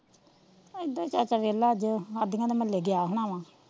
ਇੱਦਾਂ ਹੀ ਚਾਚਾ ਵੇਲਾ ਅੱਜ ਆਦੀਆ ਦੇ ਮੁਹੱਲੇ ਗਿਆ ਹੋਣਾ ਵਾਂ,